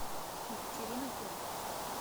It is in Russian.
екатерина поль